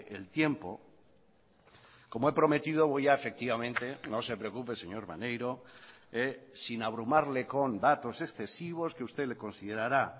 el tiempo como he prometido voy a efectivamente no se preocupe señor maneiro sin abrumarle con datos excesivos que usted le considerará